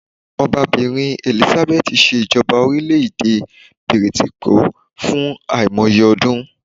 Obabìrin Elizabeth se ìjọba orílẹ̀ èdè Ilè Bìrìtìkó fún àìmoye ọdún